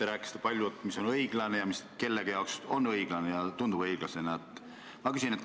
Te rääkisite palju, mis on õiglane ning mis kellegi arvates on õiglane ja tundub õiglasena.